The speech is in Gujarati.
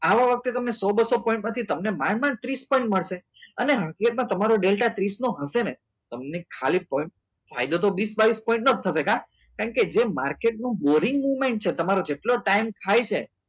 આવા વખતે તમે સૌ પાઠમાંથી માંડ માં ત્રીસ પંચ મળશે અને હકીકતમાં તમે ડેલ્ટા ત્રીસ નો હશે ને તમે ખાલી ફોન તમે વીસ બાવીસ ન થશે કા કારણ કે જે માર્કેટનું boring movement છે જેટલો તમારો ટાઈમ થાય છે